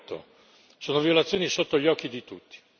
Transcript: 2008. Sono violazioni sotto gli occhi di tutti.